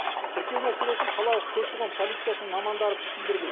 тіркеу мәселесін қалалық көші қон полициясының мамандары түсіндірді